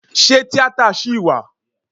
Ṣé tíátà ṣì wà?